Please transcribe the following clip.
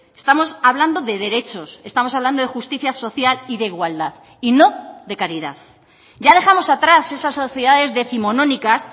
estamos hablando de derechos estamos hablando de justicia social y de igualdad y no de caridad ya dejamos atrás esas sociedades décimonónicas